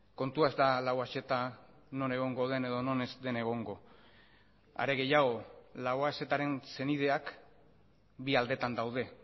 kontua ez da lauaxeta non egongo den edo non ez den egongo are gehiago lauaxetaren senideak bi aldetan daude